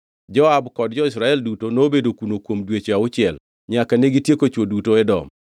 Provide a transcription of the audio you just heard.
Joab kod jo-Israel duto nobedo kuno kuom dweche auchiel, nyaka negitieko chwo duto Edom.